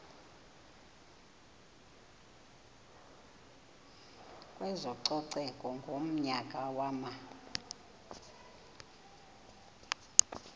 kwezococeko ngonyaka wama